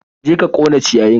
Je ka ƙona ciyayin!